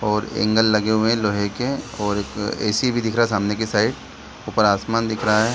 और एंगल लगे हुए हैं लोहे के और एक ए.सी. भी दिख रहा है सामने के साइड ऊपर आसमान दिख रहा है।